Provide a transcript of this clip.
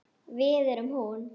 Við erum hún.